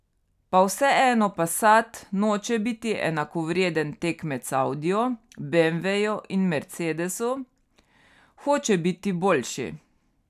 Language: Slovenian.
Pa vseeno passat noče biti enakovreden tekmec audiju, beemveju in mercedesu, hoče biti boljši.